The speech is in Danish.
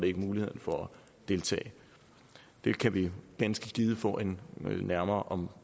ikke muligheden for at deltage det kan vi ganske givet få en nærmere og